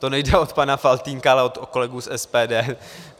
To nejde od pana Faltýnka, ale od kolegů z SPD.